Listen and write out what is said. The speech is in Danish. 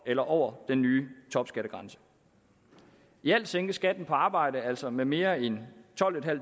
eller over den nye topskattegrænse i alt sænkes skatten på arbejde altså med mere end tolvtusinde og